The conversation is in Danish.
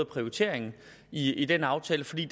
prioriteringen i den aftale fordi